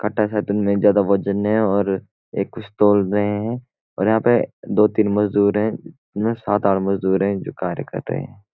काटा शायद उनमें ज्यादा वजन है और एक कुछ तोल रहे हैं और यहाँ पे दो-तीन मजदूर हैं सात आठ मजदूर हैं जो कार्य कर रहे हैं।